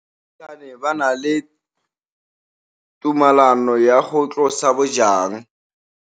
Baagisani ba ne ba na le tumalanô ya go tlosa bojang.